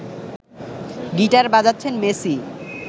guitar বাজাচ্ছেন Messi